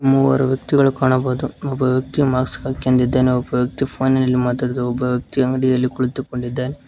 ಮೂರು ವ್ಯಕ್ತಿಗಳು ಕಾಣಬಹುದು ಒಬ್ಬ ವ್ಯಕ್ತಿ ಮಾಸ್ಕ್ ಹಾಕಿ ನಿಂತಿದ್ದಾನೆ ಒಬ್ಬ ವ್ಯಕ್ತಿ ಫೋನಿನಲ್ಲಿ ಮಾತಾಡುತ್ತಿ ಒಬ್ಬ ವ್ಯಕ್ತಿ ಅಂಗಡಿಯಲ್ಲಿ ಕುಳಿತಿದ್ದಾನೆ.